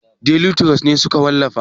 Deli turos ne suka wallafa?